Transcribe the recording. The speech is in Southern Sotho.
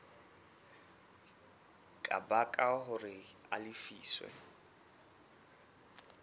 ka baka hore a lefiswe